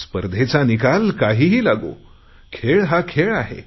स्पर्धेचा निकाल काहीही लागो खेळ हा खेळ आहे